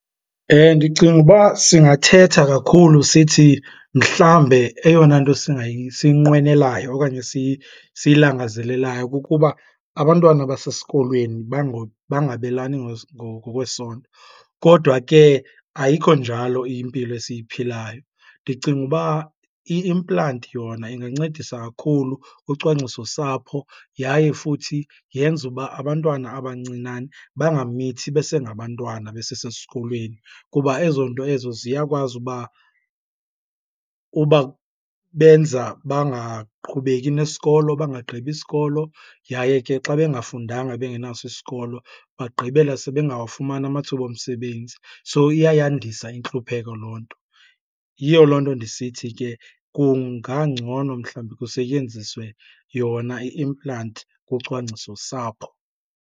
Ndicinga uba singathetha kakhulu sithi mhlawumbe eyona nto siyinqwenelayo okanye siyilangazelelayo kukuba abantwana basesikolweni bangabelani ngokwesondo, kodwa ke ayikho njalo impilo esiyiphilayo. Ndicinga uba i-implant yona ingancedisa kakhulu kucwangcisosapho yaye futhi yenze uba abantwana abancinane bangamithi besengabantwana besesesikolweni kuba ezoo nto ezo ziyakwazi uba ubabenza bangaqhubeki nesikolo, bangagqibi isikolo. Yaye ke xa bengafundanga bengenaso isikolo bagqibela sebengawafumani amathuba omsebenzi, so iyayandisa intluphekho loo nto. Yiyo loo nto ndisithi ke kungangcono mhlawumbi kusetyenziswe yona i-implant kucwangcisosapho.